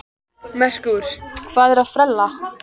Merkúr, hvað er að frétta?